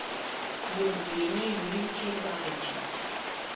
евгения юрьевича игнатовича